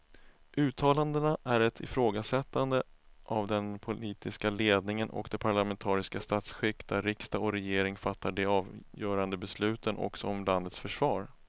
Uttalandena är ett ifrågasättande av den politiska ledningen och det parlamentariska statsskick där riksdag och regering fattar de avgörande besluten också om landets försvar.